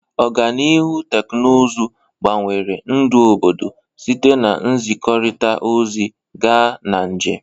Ọganihu teknụzụ gbanwere ndụ obodo, site na nzikọrịta ozi gaa na njem.